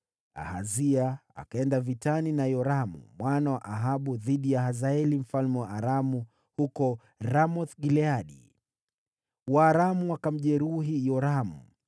Ahazia akaenda vitani na Yoramu mwana wa Ahabu kupigana na Hazaeli mfalme wa Aramu huko Ramoth-Gileadi. Waaramu wakamjeruhi Yoramu.